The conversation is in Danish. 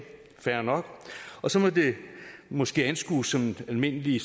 fair nok så må det måske anskues som almindelig